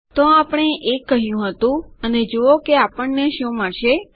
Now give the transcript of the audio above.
તો આપણે 1 કહ્યું હતું અને જુઓ કે આપણને શું મળશે